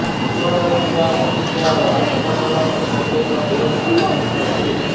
ନିକଟରେ ଥିବା ବଗିଚା ଓ ଆଖପାଖର ପରିବେଶ ବେଶ ଆକର୍ଷଣୀୟ ଅଟେ